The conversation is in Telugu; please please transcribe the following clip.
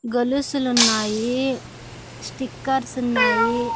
గొలుసులున్నాయి స్టిక్కర్స్ ఉన్నాయి.